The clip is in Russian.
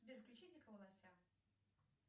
сбер включи дикого лося